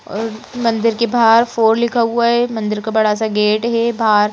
अर मंदिर के बाहर फोर लिखा हुआ है मंदिर का बड़ा सा गेट है बाहर--